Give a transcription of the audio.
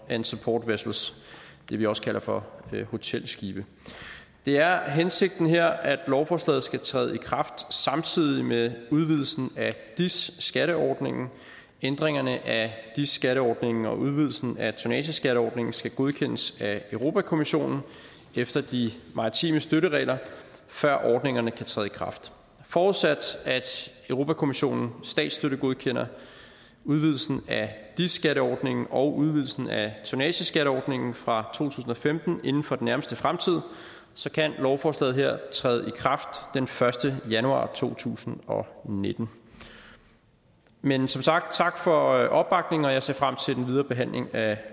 and support vessels det vi også kalder for hotelskibe det er er hensigten her at lovforslaget skal træde i kraft samtidig med udvidelsen af dis skatteordningen ændringerne af dis skatteordningen og udvidelsen af tonnageskatteordningen skal godkendes af europa kommissionen efter de maritime støtteregler før ordningerne kan træde i kraft forudsat at europa kommissionen statsstøttegodkender udvidelsen af dis skatteordningen og udvidelsen af tonnageskatteordningen fra to tusind og femten inden for den nærmeste fremtid kan lovforslaget her træde i kraft den første januar to tusind og nitten men som sagt tak for opbakningen og jeg ser frem til den videre behandling af